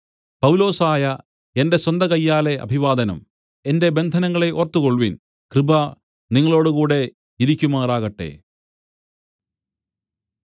പൗലൊസായ എന്റെ സ്വന്തകയ്യാലെ അഭിവാദനം എന്റെ ബന്ധനങ്ങളെ ഓർത്തുകൊൾവിൻ കൃപ നിങ്ങളോടുകൂടെ ഇരിക്കുമാറാകട്ടെ